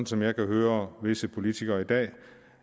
som jeg kan høre visse politikere i dag